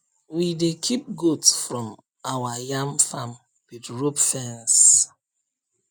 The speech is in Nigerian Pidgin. we dey keep goat from our yam farm with rope fence